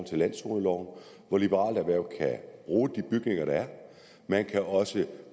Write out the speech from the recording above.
til landzoneloven så liberale erhverv kan bruge de bygninger der er man kan også